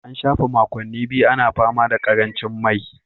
An shafe makonni biyu ana fama da karancin mai